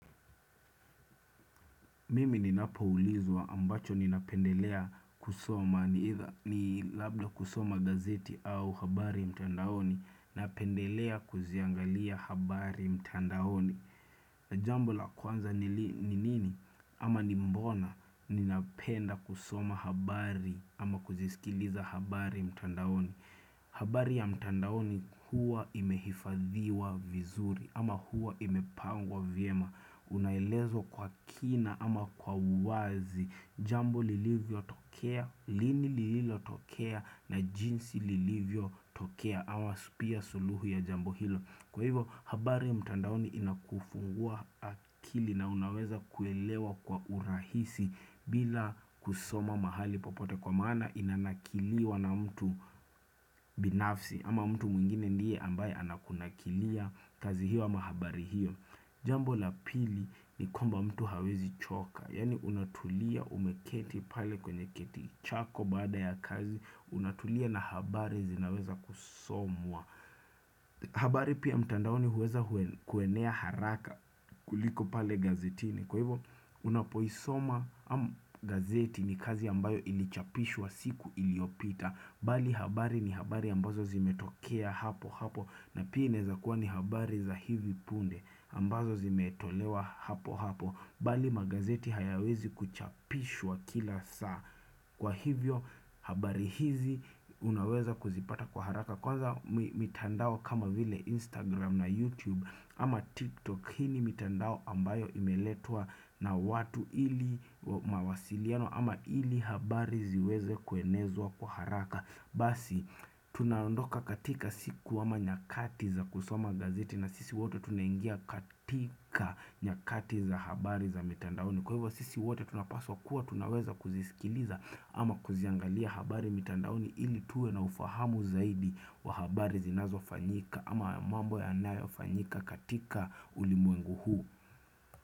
Mimi ninapoulizwa ambacho ninapendelea kusoma ni either ni labda kusoma gazeti au habari mtandaoni, napendelea kuziangalia habari mtandaoni na jambo la kwanza ni nini ama ni mbona ninapenda kusoma habari ama kuzisikiliza habari mtandaoni habari ya mtandaoni huwa imehifadhiwa vizuri ama huwa imepangwa vyema Unaelezwa kwa kina ama kwa uwazi, Jambo lilivyo tokea, lini lililo tokea na jinsi lilivyo tokea ama pia suluhu ya jambo hilo. Kwa hivyo habari mtandaoni inakufungua akili na unaweza kuelewa kwa urahisi bila kusoma mahali popote kwa maana inanakiliwa na mtu binafsi ama mtu mwingine ndiye ambaye anakunakilia kazi hiyo ama habari hiyo Jambo la pili ni kwamba mtu hawezi choka. Yaani unatulia umeketi pale kwenye kiti chako baada ya kazi, unatulia na habari zinaweza kusomwa. Habari pia mtandaoni huweza kuenea haraka kuliko pale gazetini Kwa hivo unapoisoma am gazeti ni kazi ambayo ilichapishwa siku iliopita Bali habari ni habari ambazo zimetokea hapo hapo na pia inaeza kuwa ni habari za hivi punde ambazo zimetolewa hapo hapo Bali magazeti hayawezi kuchapishwa kila saa, kwa hivyo habari hizi unaweza kuzipata kwa haraka Kwanza mitandao kama vile Instagram na YouTube ama TikTok hii ni mitandao ambayo imeletwa na watu ili mawasiliano ama ili habari ziweze kuenezwa kwa haraka. Basi tunaondoka katika siku ama nyakati za kusoma gazeti na sisi wote tunaingia katika nyakati za habari za mitandaoni Kwa hivyo sisi wote tunapaswa kuwa tunaweza kuzisikiliza ama kuziangalia habari mitandaoni ili tuwe na ufahamu zaidi waa habari zinazofanyika ama mambo yanayofanyika katika ulimwengu huu.